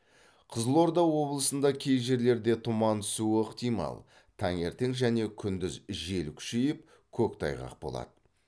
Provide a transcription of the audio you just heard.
қызылорда облысында кей жерлерде тұман түсуі ықтимал таңертең және күндіз жел күшейіп көктайғақ болады